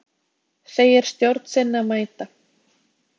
Segir stjórn sinni að mæta